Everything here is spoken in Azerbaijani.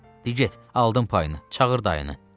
Dey get, aldım payını, çağır dayını.